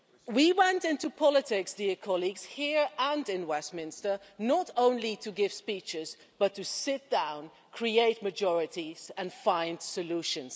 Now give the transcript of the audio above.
We went into politics, colleagues, here and in Westminster, not only to give speeches but to sit down, create majorities and find solutions.